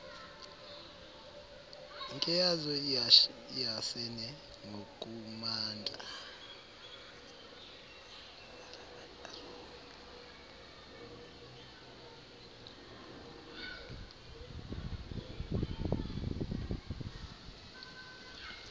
nkeazo iehasene ngokumandla